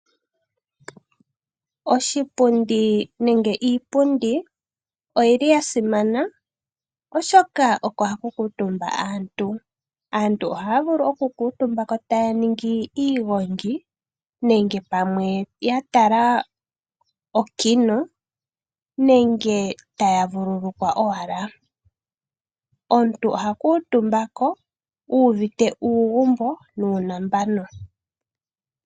Oshipundi nenge iipundi oyili ya simana oshoka oko haku kuutumba aantu, aantu ohaya vulu oku kuutumbako taya ningi iigongi nenge pamwe ya tala okino nenge taya vululukwa owala. Omuntu oha kuutumba ko uuvite uugumbo nuunambano.